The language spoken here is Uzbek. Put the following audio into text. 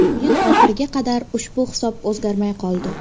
O‘yin oxiriga qadar ushbu hisob o‘zgarmay qoldi.